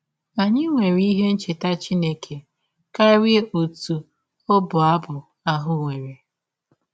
Anyị nwere ihe ncheta Chineke karịa ọtụ ọbụ abụ ahụ nwere.